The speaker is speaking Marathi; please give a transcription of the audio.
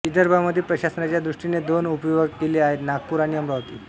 विदर्भामध्ये प्रशासनाच्या दॄष्टीने दोन उपविभाग केले आहेत नागपूर आणि अमरावती